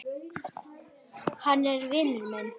Hann er vinur minn